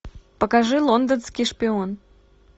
покажи лондонский шпион